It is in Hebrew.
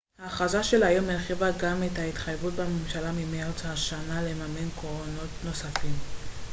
ההכרזה של היום הרחיבה גם את התחייבות הממשלה ממרץ השנה לממן קרונות נוספים